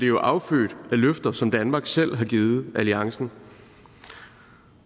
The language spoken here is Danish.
jo affødt af løfter som danmark selv har givet alliancen